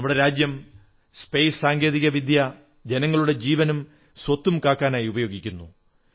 നമ്മുടെ രാജ്യം ബഹിരാകാശ സാങ്കേതിക വിദ്യ ജനങ്ങളുടെ ജീവനും സ്വത്തും കാക്കാനായി ഉപയോഗിക്കുന്നു